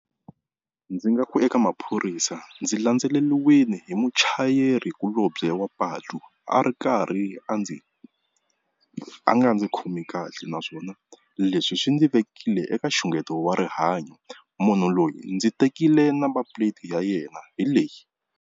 Ndzi nga ku eka maphorisa ndzi landzeleriwile hi muchayerikulobye wa patu a ri karhi a ndzi a nga ndzi khomi kahle, naswona leswi swi ndzi vekile eka nxungeto wa rihanyo. Munhu loyi ndzi tekile number plate ya yena hi leyi.